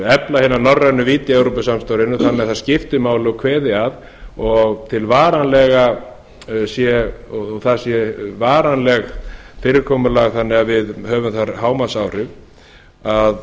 efla hina norrænu vídd í evrópusamstarfinu þannig að það skipti máli og kveði að og það sé varanlegt fyrirkomulag þannig að við höfum þar hámarksáhrif að